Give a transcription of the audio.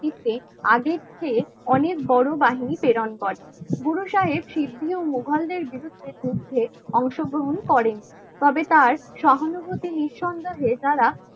নেতৃত্বে আগের চেয়ে অনেক বড় বাহিনী প্রেরণ করেন গুরুসাহেব সিদ্ধি ও মুঘলদের নির্দেশে অংশগ্রহণ করেন. তবে তার সহানুভূতি নিঃসন্দেহে তারা